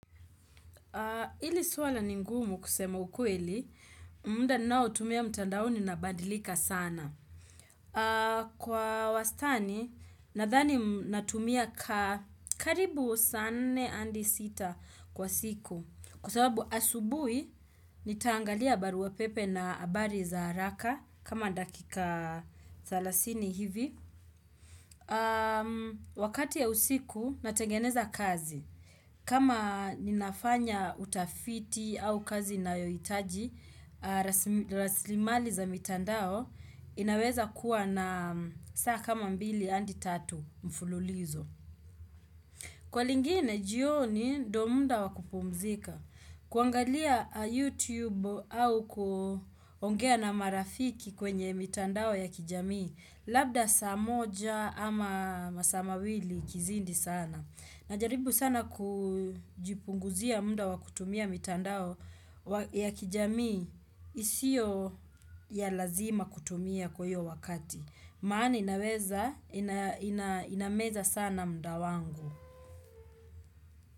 Ili suala ni ngumu kusema ukweli, muda ninao tumia mtandaoni na badilika sana. Kwa wastani, nadhani natumia karibu saa nne andi sita kwa siku. Kwa sababu asubui, nitaangalia barua pepe na habari za haraka, kama dakika thelathini hivi. Wakati ya usiku, natengeneza kazi. Kama ninafanya utafiti au kazi na yohitaji, raslimali za mitandao inaweza kuwa na saa kama mbili andi tatu mfululizo. Kwa lingine, jioni ndio muda wakupumzika. Kuangalia YouTube au kuongea na marafiki kwenye mitandao ya kijamii, labda saa moja ama masaa mawili ikizidi sana. Najaribu sana kujipunguzia muda wakutumia mitandao ya kijamii isio ya lazima kutumia kwa hio wakati. Maani inameza sana muda wangu.